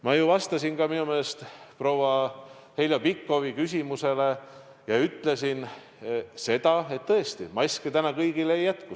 Ma vastasin selle kohta enda meelest juba proua Heljo Pikhofi küsimusele ja ütlesin seda, et tõesti, maske praegu kõigile ei jätku.